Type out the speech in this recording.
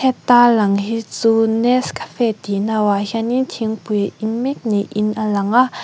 heta lang hi chu nescafe tih no ah hian in thingpui a in mek ni in a lang a.